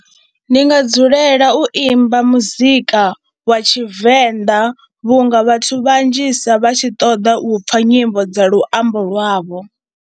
Ndi nga dzulela u imba muzika wa Tshivenḓa vhunga vhathu vhanzhisa vha tshi ṱoḓa u pfha nyimbo dza luambo lwavho.